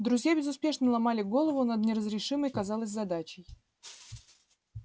друзья безуспешно ломали голову над неразрешимой казалось задачей